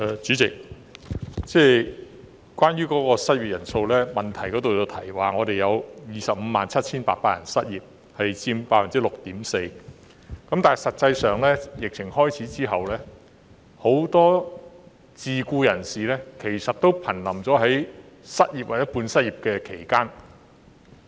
主席，關於失業人數，主體質詢提到香港有257800人失業，失業率為 6.4%， 但實際上，很多自僱人士自疫情開始後，處於瀕臨失業或半失業之間。